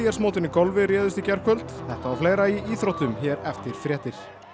mótinu í golfi réðust í gærkvöld þetta og fleira í íþróttum hér eftir fréttir